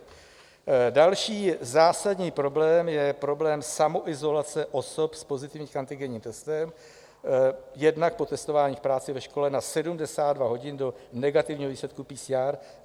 Další zásadní problém je problém samoizolace osob s pozitivním antigenním testem, jednak po testování v práci, ve škole, na 72 hodin do negativního výsledku PCR.